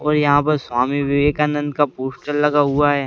और यहाँ पर स्वामी विवेकानंद का पोस्टर लगा हुआ है।